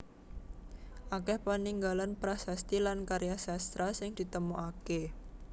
Akèh paninggalan prasasti lan karya sastra sing ditemokaké